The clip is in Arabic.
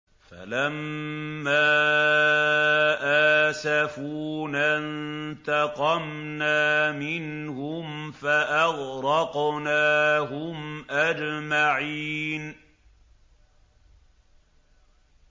فَلَمَّا آسَفُونَا انتَقَمْنَا مِنْهُمْ فَأَغْرَقْنَاهُمْ أَجْمَعِينَ